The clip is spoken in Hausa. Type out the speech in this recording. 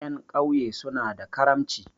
Ƴan ƙauye suna da karamci.